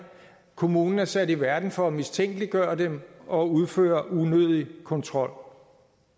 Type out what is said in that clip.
kommunen er sat i verden for at mistænkeliggøre dem og udføre unødig kontrol